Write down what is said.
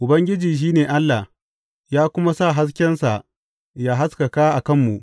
Ubangiji shi ne Allah ya kuma sa haskensa ya haskaka a kanmu.